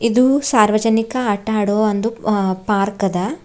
ಇದು ಸಾರ್ವಜನಿಕ ಆಟ ಆಡುವ ಒಂದು ಅ ಪಾರ್ಕ್ ಅದ.